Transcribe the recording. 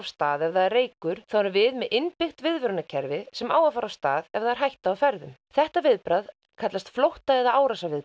stað ef það er reykur þá erum við með innbyggt viðvörunarkerfi sem á að fara af stað ef það er hætta á ferðum þetta viðbragð kallast flótta eða